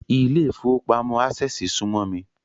Ilé ìfowópamọ́ Ásẹ̀sì súmọ́ mi